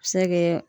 A bɛ se ka kɛ